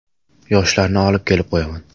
Yoshlarni olib kelib qo‘yaman.